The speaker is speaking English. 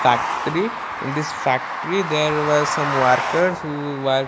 factory in this factory there was some worker who work --